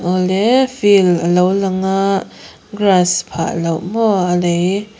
awle field a lo lang a grass phah loh maw a lei--